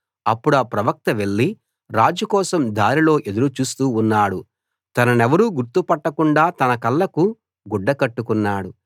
అప్పుడా ప్రవక్త వెళ్లి రాజు కోసం దారిలో ఎదురు చూస్తూ ఉన్నాడు తననెవరూ గుర్తుపట్టకుండా తన కళ్ళకు గుడ్డ కట్టుకున్నాడు